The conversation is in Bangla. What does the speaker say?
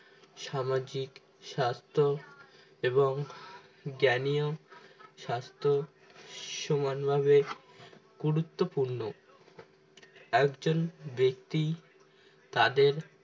সামাজিক স্বাস্থ্য এবং জ্ঞানী ও স্বাস্থ্য সমানভাবে গুরুত্বপূর্ণ একজন ব্যক্তি তাদের